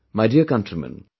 My dear countrymen